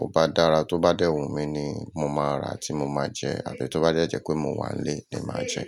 o bá dára, tó bá dẹ́wun mi ni mo máa rà tí mo máa jẹ àti tó bá jẹ́ ẹ jẹ́ pé mo wà nílé ni màá jẹ́.